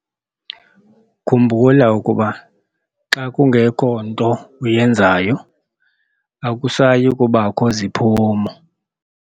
Khumbula ukuba xa kungekho nto uyenzayo, akusayi kubakho ziphumo.